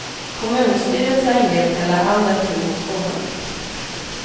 Kommunstyrelsen ger kalla handen till motionen.